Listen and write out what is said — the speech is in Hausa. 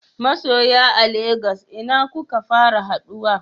Masoya a Lagos ina kuka fara haduwa?